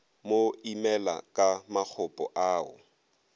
mo imela ka makgopo ao